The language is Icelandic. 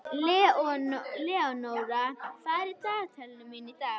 Leonóra, hvað er í dagatalinu mínu í dag?